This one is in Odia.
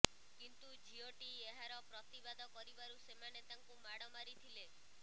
କିନ୍ତୁ ଝିଅଟି ଏହାର ପ୍ରତିବାଦ କରିବାରୁ ସେମାନେ ତାଙ୍କୁ ମାଡ଼ ମାରିଥିଲେ